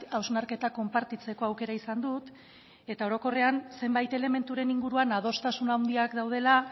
hausnarketa konpartitzeko aukera izan dut eta orokorrean zenbait elementuren inguruan adostasun handiak daudela